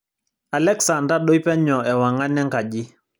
alexa ntadoi penyo ewang'an enkaji